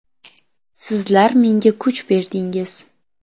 Sizlar menga kuch berdingiz.